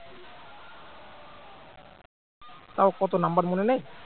তাও কত number মনে নেই